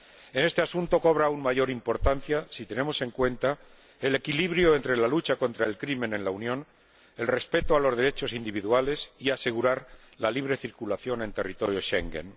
En este asunto cobra aún mayor importancia, si lo tenemos en cuenta, el equilibrio entre la lucha contra la delincuencia en la Unión, el respeto de los derechos individuales y la garantía de la libre circulación en el territorio Schengen.